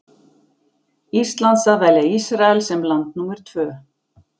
Íslands að velja Ísrael sem land númer tvö.